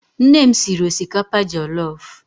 Nne m siri osikapa jellof